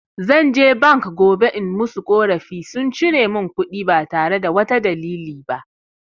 Zan je bank gobe in musu ƙorafi, sun cire mun kuɗi ba tare da wata dalili ba.